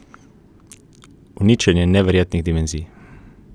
Uničenje neverjetnih dimenzij.